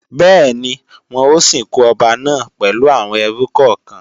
Bẹ́ẹ̀ni, wọn ó sìnkú ọba náà pẹ̀lú àwọn ẹrú kọ̀kan